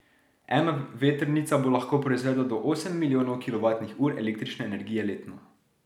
Ena vetrnica bo lahko proizvedla do osem milijonov kilovatnih ur električne energije letno.